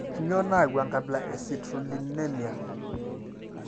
Kainyio nayau enkabila e I eCitrullinemia?